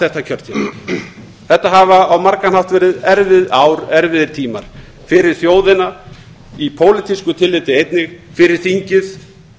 þetta kjörtímabil þetta hafa á margan hátt verið erfiðir tímar fyrir þjóðina í pólitísku tilliti einnig fyrir þingið